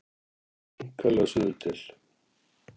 Einkanlega suður til